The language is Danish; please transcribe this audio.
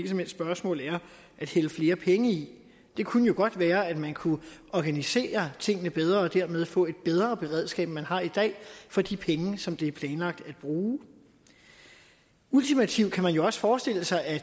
som helst spørgsmål er at hælde flere penge i det kunne jo godt være at man kunne organisere tingene bedre og dermed få et bedre beredskab end man har i dag for de penge som det er planlagt at bruge ultimativt kan man jo også forestille sig at